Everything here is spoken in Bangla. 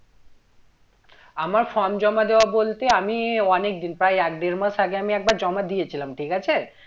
আমার form জমা দেওয়া বলতে আমি অনেকদিন, প্রায় এক দেড় মাস আগে আমি একবার জমা দিয়েছিলাম ঠিক আছে?